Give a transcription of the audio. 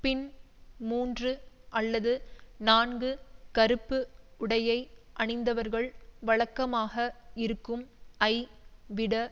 பின் மூன்று அல்லது நான்கு கறுப்பு உடையை அணிந்தவர்கள் வழக்கமாக இருக்கும் ஐ விட